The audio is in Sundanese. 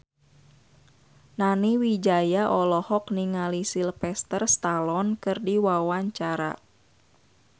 Nani Wijaya olohok ningali Sylvester Stallone keur diwawancara